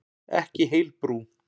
Ekki heil brú.